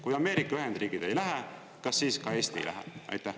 Kui Ameerika Ühendriigid ei lähe, kas siis ka Eesti ei lähe?